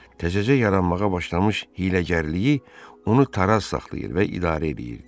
Təzəcə yaranmağa başlamış hiyləgərliyi onu taraz saxlayır və idarə edirdi.